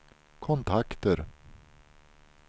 kontakter